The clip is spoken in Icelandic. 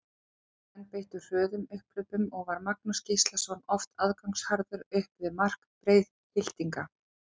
Gróttumenn beittu hröðum upphlaupum og var Magnús Gíslason oft aðgangsharður upp við mark Breiðhyltinga.